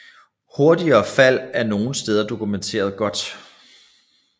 Hurtige fald er nogle steder dokumenteret godt